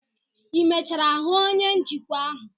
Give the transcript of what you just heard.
ị emechara hụ onye njikwa ahụ?